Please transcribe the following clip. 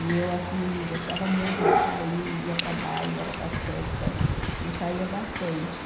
E eu assim gostava muito de sair, ia para baile, era para festa e saía bastante.